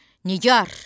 Nigar!